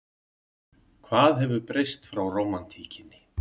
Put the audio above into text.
Hvað hefur breyst frá rómantíkinni?